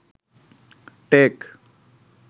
take